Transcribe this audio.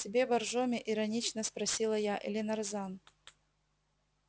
тебе боржоми иронично спросила я или нарзан